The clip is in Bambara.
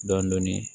Dɔɔnin dɔɔnin